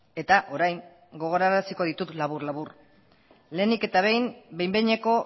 eta orain gogoaraziko ditut labur labur lehenik eta behin behin behineko